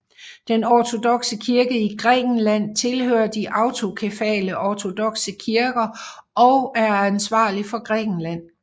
Den ortodokse kirke i Grækenland tilhører de autokefale ortodokse kirker og er ansvarlig for Grækenland